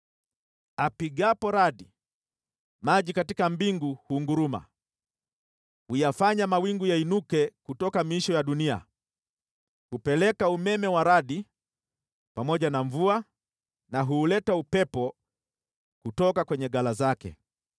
Atoapo sauti yake, maji yaliyo katika mbingu hunguruma, huyafanya mawingu yainuke kutoka miisho ya dunia. Hupeleka umeme wa radi pamoja na mvua, naye huuleta upepo kutoka ghala zake.